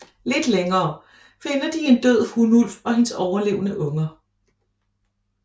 Lidt længere finder de en død hunulv og hendes overlevende unger